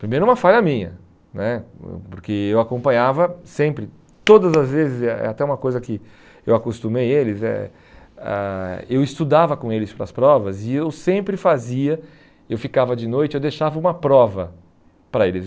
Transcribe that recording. Primeiro uma falha minha né, porque eu acompanhava sempre, todas as vezes, é até uma coisa que eu acostumei eles, eh ãh eu estudava com eles para as provas e eu sempre fazia, eu ficava de noite e eu deixava uma prova para eles.